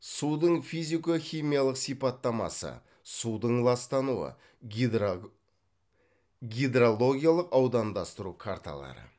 судың физико химиялық сипаттамасы судың ластануы гидрологиялық аудандастыру карталары